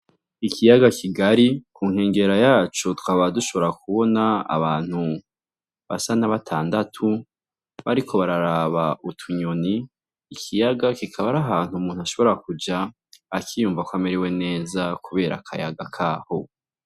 Ikiyaga kigari, ku nkengera yaco tukaba dushobora kubona abantu basa na batandatu bariko bararaba utunyoni ikiyaga kikaba ari ahantu umuntu ashobora kuja akiyumva ko amerewe neza kubera akayaga kaho.